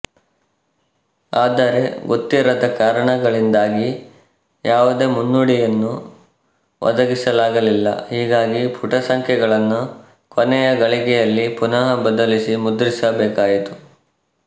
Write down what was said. ಆದರೆ ಗೊತ್ತಿರದ ಕಾರಣಗಳಿಂದಾಗಿ ಯಾವುದೇ ಮುನ್ನುಡಿಯನ್ನು ಒದಗಿಸಲಾಗಲಿಲ್ಲ ಹೀಗಾಗಿ ಪುಟ ಸಂಖ್ಯೆಗಳನ್ನು ಕೊನೆ ಘಳಿಗೆಯಲ್ಲಿ ಪುನಃಬದಲಿಸಿ ಮುದ್ರಿಸಬೇಕಾಯಿತು